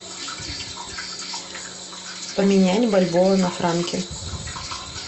поменять бальбоа на франки